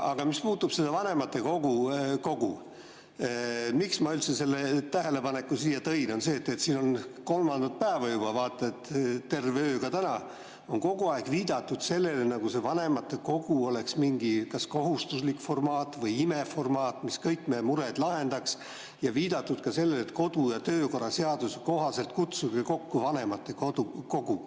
Aga mis puudutab vanematekogu, seda, miks ma üldse selle tähelepaneku siin esitasin, siis siin on kolmandat päeva juba, vaata et terve öö ka täna kogu aeg viidatud sellele, nagu see vanematekogu oleks mingi kas kohustuslik formaat või imeformaat, mis kõik meie mured lahendaks, ja on viidatud ka sellele, et kodu‑ ja töökorra seaduse kohaselt kutsuge kokku vanematekogu.